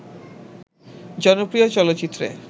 জনপ্রিয় চলচিত্রে